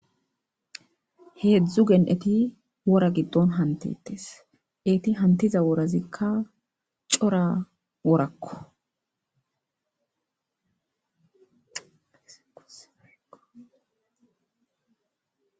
Hezhzhu gen'etti wora giddonni hamutetees.etti hamutizza worazzikka cora worakko.